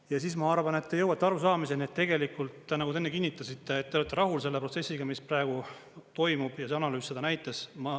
Ja siis, ma arvan, et te jõuate arusaamiseni, et tegelikult, nagu te enne kinnitasite, et te olete rahul selle protsessiga, mis praegu toimub ja see analüüs näitas.